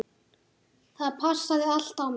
Það passaði allt á mig.